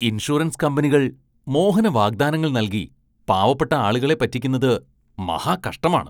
Insurance കമ്പനികള്‍ മോഹന വാഗ്ദാനങ്ങള്‍ നല്‍കി പാവപ്പെട്ട ആളുകളെ പറ്റിക്കുന്നത് മഹാകഷ്ടമാണ്.